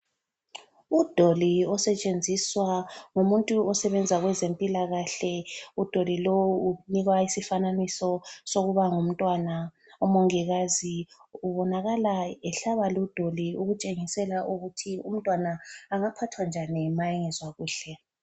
Udoli osetshenziswa ngumuntu osebenza kwezempilakahle. Udoli lowu unikwa isifananiso sokuba ngumntwana. Umongikazi ubonakala ehlaba ludoli ukutshengisela ukuthi umntwana angaphathwa njani ma engezwakuhle.